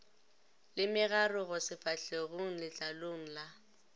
le megarogo sefahlegong letlalong la